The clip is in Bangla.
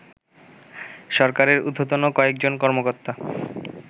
সরকারের ঊর্ধ্বতন কয়েকজন কর্মকর্তা